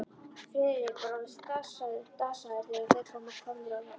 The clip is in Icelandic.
Friðrik var orðinn dasaður, þegar þeir voru komnir á loft.